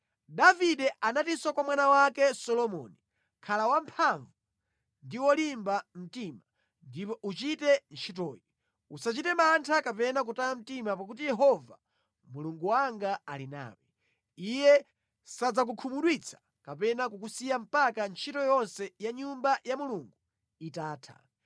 Davide anatinso kwa mwana wake Solomoni, “Khala wamphamvu ndi wolimba mtima ndipo uchite ntchitoyi. Usachite mantha kapena kutaya mtima pakuti Yehova Mulungu wanga ali nawe. Iye sadzakukhumudwitsa kapena kukusiya mpaka ntchito yonse ya Nyumba ya Mulungu itatha.